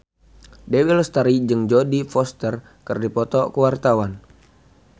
Dewi Lestari jeung Jodie Foster keur dipoto ku wartawan